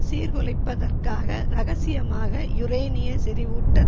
சீர்குலைப்பதற்காக ரகசியமாக யுரேனிய செறிவூட்ட